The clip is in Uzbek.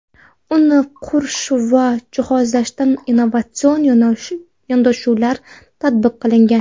Uni qurish va jihozlashda innovatsion yondashuvlar tatbiq qilingan.